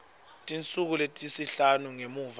tinsuku letisihlanu ngemva